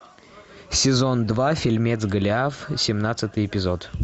сезон два фильмец голиаф семнадцатый эпизод